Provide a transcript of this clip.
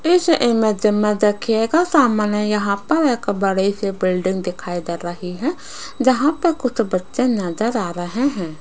इस इमेज में देखिएगा सामने यहां पर एक बड़ी सी बिल्डिंग दिखाई दे रही है जहां प कुछ बच्चे नजर आ रहे हैं।